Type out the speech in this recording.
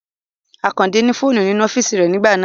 Àkàndé ní fóònù nínú ọ́físì rẹ nígbà náà